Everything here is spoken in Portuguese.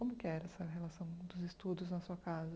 Como que era essa relação dos estudos na sua casa?